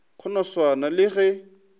go no swana le ge